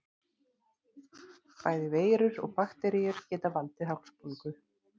Bæði veirur og bakteríur geta valdið hálsbólgu.